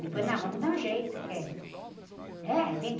Depois, não, vamos dar um jeito, o que é? Né? A gente